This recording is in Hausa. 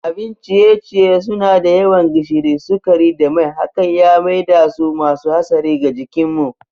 Abin ciye-ciye suna da yawan gishiri, sukari da mai hakan ya maidasu masu hatsari ga jikinmu.